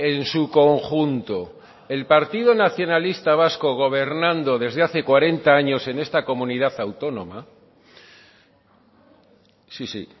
en su conjunto el partido nacionalista vasco gobernando desde hace cuarenta años en esta comunidad autónoma sí sí